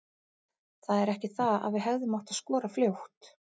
Það er ekki það að við hefðum átt að skora fljótt.